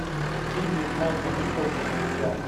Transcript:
фильмик майка николса друзья